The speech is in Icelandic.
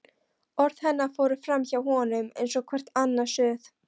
Orð hennar fóru framhjá honum eins og hvert annað suð.